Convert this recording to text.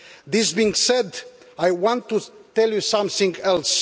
This being said, I want to tell you something else.